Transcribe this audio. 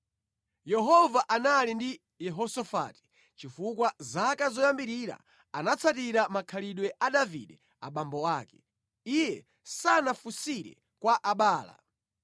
Yehova anali ndi Yehosafati chifukwa mʼzaka zoyambirira anatsatira makhalidwe a Davide abambo ake. Iye sanafunsire kwa Abaala.